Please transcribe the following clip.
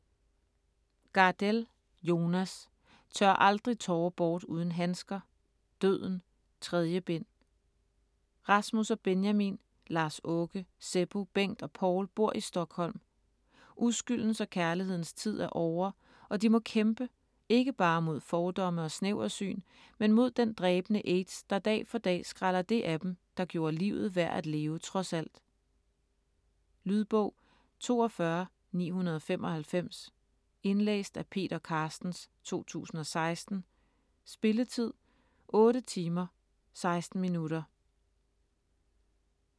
Gardell, Jonas: Tør aldrig tårer bort uden handsker: Døden: 3. bind Rasmus og Benjamin, Lars-Åke, Seppo, Bengt og Paul bor i Stockholm. Uskyldens og kærlighedens tid er ovre, og de må kæmpe, ikke bare mod fordomme og snæversyn, men mod den dræbende aids, der dag for dag skræller det af dem, der gjorde livet værd at leve trods alt. Lydbog 42995 Indlæst af Peter Carstens, 2016. Spilletid: 8 timer, 16 minutter.